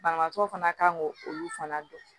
Banabaatɔ fana kan k'o olu fana dɔn